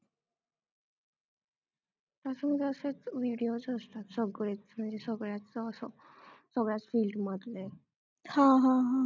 videos असतात सगळेच म्हणजे सगळ्याच असं सगळ्याच field मधले